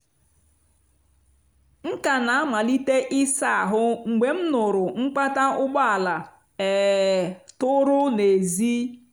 m ka na-amalite ịsa ihu m mgbe m nụụrụ mkpata ụgbọala um tụrụ n’èzí.